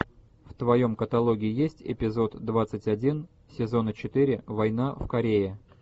в твоем каталоге есть эпизод двадцать один сезона четыре война в корее